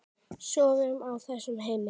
Sofum á þessu, Hemmi.